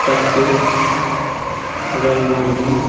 बच्चे रंगोली --